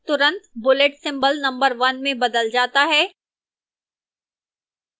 तुरंत bullet symbol number 1 में बदल जाता है